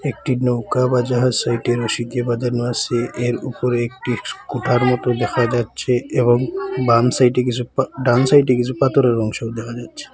একটি নৌকা বা জাহাস সেইটি রসি গিয়ে বাঁধানো আসে এর উপরে একটি কুঠার মতো দেখা যাচ্ছে এবং বাম সাইডে কিসু ডান সাইডে কিসু পাতরের অংশও দেখা যাচ্ছে।